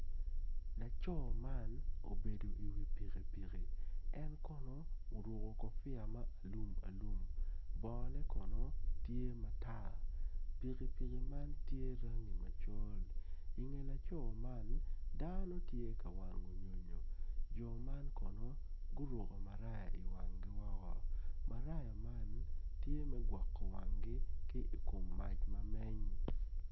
Laco man obedo iwi pikipiki en kono oruko kopia ma alumalum bongone kono tye matar pikipikine man tye rangi macol inge laco man dano tye ka wango nyonyo jo man kono guroko maraya iwanggi woko maraya man tye me gwoko wanggi i kom mac ma meny.